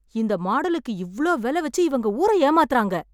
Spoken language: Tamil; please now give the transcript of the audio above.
இந்த மாடலுக்கு இவ்வளவு விலை வெச்சு இவங்க ஊர ஏமாத்துறாங்க!